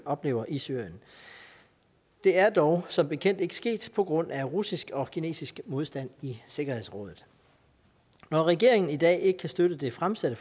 oplever i syrien det er dog som bekendt ikke sket på grund af russisk og kinesisk modstand i sikkerhedsrådet når regeringen i dag ikke kan støtte det fremsatte